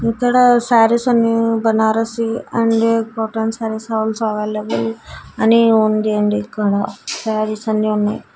ఇక్కడ శారీస్ అని Banarasi and cotton saris also available అని ఉంది అండి ఇక్కడ శారీస్ అన్ని ఉన్నాయి.